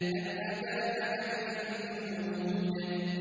هَلْ أَتَاكَ حَدِيثُ الْجُنُودِ